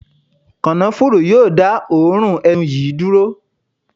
Kànáfùrú yóò dá òórùn ẹnu yìí dúró.